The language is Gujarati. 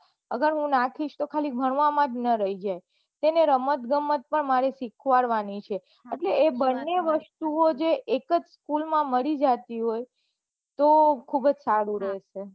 અગર હું નાખી તો ખાલી જ ભણવા માં ન રહી જાય તેને રમત ગમત પન મારે સીખવાડવાની છે એટલે એ બંને વસ્તુ જે એકજ પુલ માં મળી જાય હોય તો ખુબજ સારું રહે છે